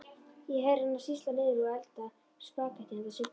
Ég heyri hana sýsla niðri, hún eldar spagettí handa Siggu.